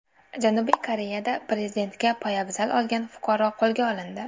Janubiy Koreyada prezidentga poyabzal otgan fuqaro qo‘lga olindi.